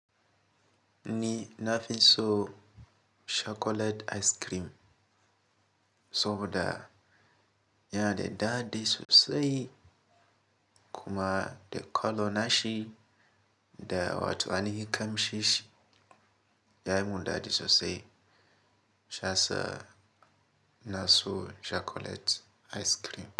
Ni na fi so chocolate ice cream saboda yana da daɗi sosai kuma da color nashi da watanni kam shishi yayi mun daɗi sosai shiyasa na so chocolate ice cream.